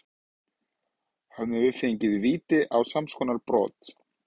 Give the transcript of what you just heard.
Hefðum við fengið víti á samskonar brot?